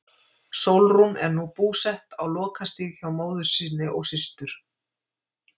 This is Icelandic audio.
Sólrún er nú búsett á Lokastíg hjá móður sinni og systur.